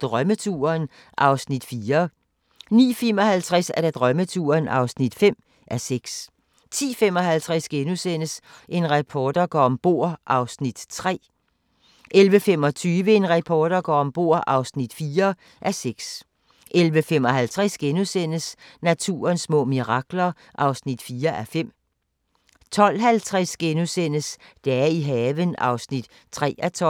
Drømmeturen (4:6)* 09:55: Drømmeturen (5:6) 10:55: En reporter går om bord (3:6)* 11:25: En reporter går om bord (4:6) 11:55: Naturens små mirakler (4:5)* 12:50: Dage i haven (3:12)*